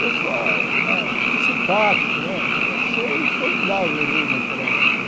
Pessoal né muito simpático né, eu achei formidável o Rio naquela época.